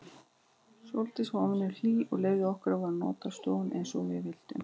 Sóldís var óvenju hlýleg og leyfði okkur að nota stofuna eins og við vildum.